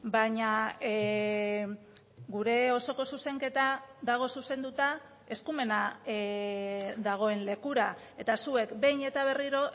baina gure osoko zuzenketa dago zuzenduta eskumena dagoen lekura eta zuek behin eta berriro